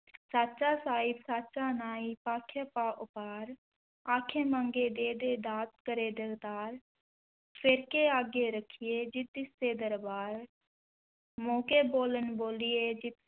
ਸਾਚਾ ਸਾਹਿਬੁ ਸਾਚਾ ਨਾਇ ਭਾਖਿਆ ਭਾਉ ਅਪਾਰੁ, ਆਖਹਿ ਮੰਗਹਿ ਦੇਹਿ ਦੇਹਿ ਦਾਤਿ ਕਰੇ ਦਾਤਾਰੁ, ਫੇਰਿ ਕਿ ਅਗੈ ਰਖੀਐ ਜਿਤੁ ਦਿਸੈ ਦਰਬਾਰੁ, ਮੂੰਹ ਕਿ ਬੋਲਣੁ ਬੋਲੀਐ ਜਿਤੁ